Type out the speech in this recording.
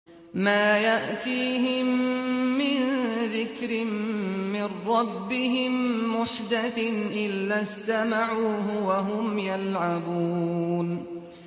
مَا يَأْتِيهِم مِّن ذِكْرٍ مِّن رَّبِّهِم مُّحْدَثٍ إِلَّا اسْتَمَعُوهُ وَهُمْ يَلْعَبُونَ